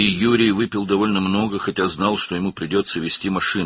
Və Yuri kifayət qədər çox içmişdi, baxmayaraq ki, maşın sürməli olacağını bilirdi.